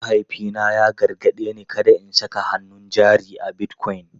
Mahaifina ya gargaɗe ni kada in saka hannun jari a Bitcoin.